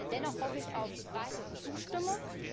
Dennoch hoffe ich auf breite Zustimmung.